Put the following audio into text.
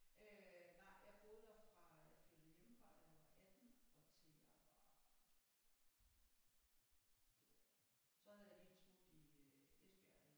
Øh nej jeg boede der fra jeg flyttede hjemmefra da jeg var 18 og til jeg var det ved jeg ikke så havde jeg lige et smut i øh Esbjerg i